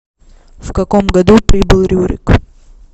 в каком году прибыл рюрик